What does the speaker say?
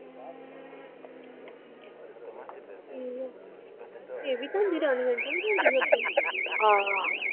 ਹਮ ਇਹ ਵੀ ਜਾਂਦੀ ਰਾਣੀ aunty ਵੀ ਜਾਂਦੀ ਅੱਗੇ ਹਾਂ।